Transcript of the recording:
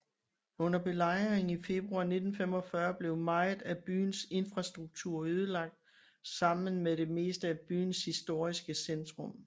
Under belejringen i februar 1945 blev meget af byens infrastruktur ødelagt sammen med det meste af byens historiske centrum